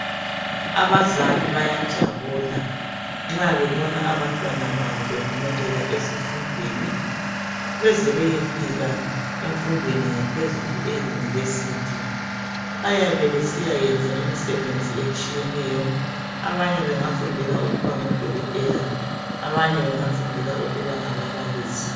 Abazali bayajabula nxa bebona abantwana babo bephumelela ezifundeni beze bayefika emfundweni yaphezulu eyunivesithi. Bayabesiyayenza imisebenzi etshiyeneyo. Abanye bangafundela ukuba ngodokotela abanye bengafundela ukuba ngababalisi.